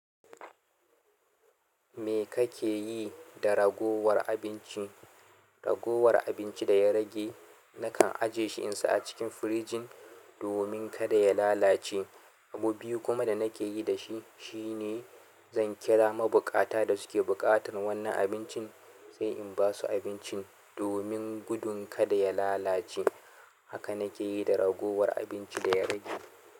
Me kake yi da ragowar abinci? Ragowar abinci da ya rage nakan aje shi insa a cikin firijin domin kada ya lalace. Abu biyu kuma da nake yi da shi shine zan kira mabuƙata da suke buƙatar wannan abincin sai in basu abincin domin gudun kada ya lalace. Haka nake yi da ragowar abinci da ya rage.